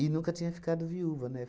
nunca tinha ficado viúva, né?